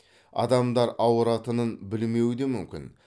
адамдар ауыратынын білмеуі де мүмкін